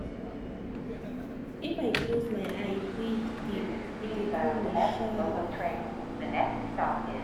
i dey write my mind for book make e clear my head small.